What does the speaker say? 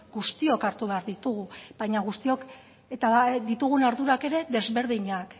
guztiok hartu behar ditugu baina guztiok ditugun ardurak ere desberdinak